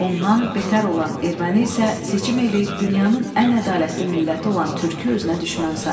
Ondan beter olan erməni isə seçim eləyib dünyanın ən ədalətli milləti olan türkü özünə düşmən sayır.